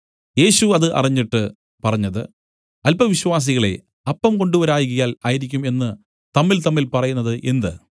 യേശു അത് അറിഞ്ഞിട്ട് പറഞ്ഞത് അല്പവിശ്വാസികളേ അപ്പം കൊണ്ടുവരായ്കയാൽ ആയിരിക്കും എന്ന് തമ്മിൽതമ്മിൽ പറയുന്നത് എന്ത്